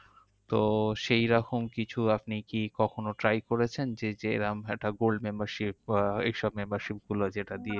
তো সেইরকম কিছু আপনি কি কখনো try করেছেন? যে জেরম একটা gold membership বা ওইসব membership গুলো যেটা দিয়ে